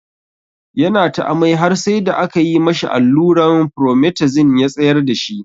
Ya na ta amai har sai da aka yi ma shi alluran Promethazine ya tsayar da shi.